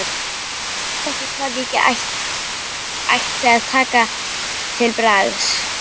Ég vissi ekki hvað ég ætti að taka til bragðs.